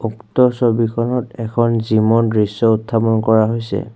উক্ত ছবিখনত এখন জিমৰ দৃশ্য উত্থাপন কৰা হৈছে।